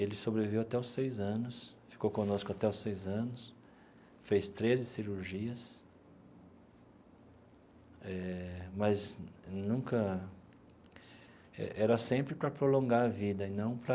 Ele sobreviveu até os seis anos, ficou conosco até os seis anos, fez treze cirurgias eh, mas nunca... era sempre para prolongar a vida e não para.